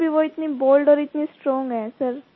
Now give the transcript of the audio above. फिर भी वो इतनी बोल्ड और इतनी स्ट्रोंग हैं सर